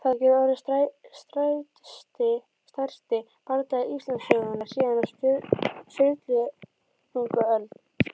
Þetta getur orðið stærsti bardagi Íslandssögunnar síðan á Sturlungaöld!